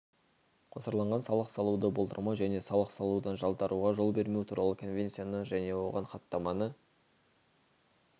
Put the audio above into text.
қосарланған салық салуды болдырмау және салық салудан жалтаруға жол бермеу туралы конвенцияны және оған хаттаманы